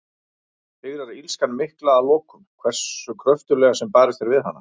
Sigrar illskan mikla að lokum, hversu kröftuglega sem barist er við hana?